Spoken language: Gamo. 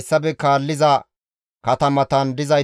Beeti-Azimoote dere asatappe 42;